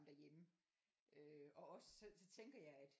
Derhjemme øh og også så tænker jeg at